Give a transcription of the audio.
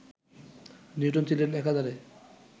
Newton ছিলেন একাধারে